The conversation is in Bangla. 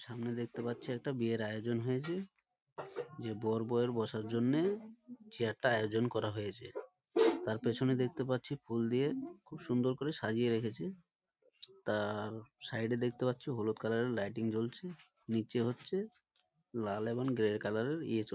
সামনে দেখতে পাচ্ছি একটা বিয়ের আয়োজন হয়েছে যে বর বৌয়ের বসার জন্যে চেয়ার টা আয়োজন করা হয়েছে তার পেছনে দেখতে পাচ্ছি ফুল দিয়ে খুব সুন্দর করে সাজিয়ে রেখেছে তার সাইড এ দেখতে পাচ্ছি হলুদ কালার এর লাইটিং জ্বলছে নিচে হচ্ছে লাল এবং গ্রে কালার এর ইয়ে।